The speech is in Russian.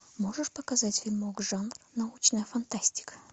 можешь показать фильмок жанр научная фантастика